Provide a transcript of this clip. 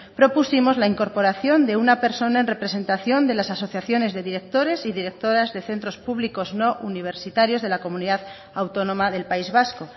propusimos la incorporación de una persona en representación de las asociaciones de directores y directoras de centros públicos no universitarios de la comunidad autónoma del país vasco